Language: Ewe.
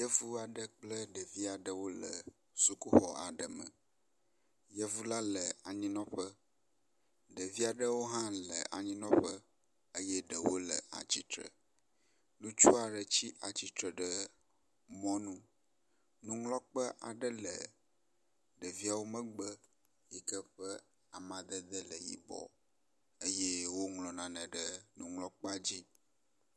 Yevu aɖe kple ɖevi aɖewo le sukuxɔ aɖe me. Yevu la le anyinɔƒe. Ɖevi aɖewo hã le anyinɔƒe eye ɖewo le atsitre. Ŋutsu aɖe tsi atsitre ɖe mɔnu. Nuŋlɔkpe aɖe le ɖeviawo megbe yi ke ƒe amadede le yibɔ eye woŋlɔ nane ɖe nuŋlɔkpea dzi.